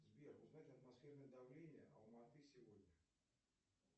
сбер узнать атмосферное давление алматы сегодня